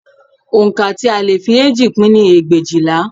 Oǹkà tí a lè fi eéjì pín ni ẹgbẹ̀éjìlá